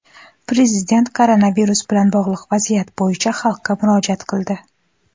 Prezident koronavirus bilan bog‘liq vaziyat bo‘yicha xalqqa murojaat qildi.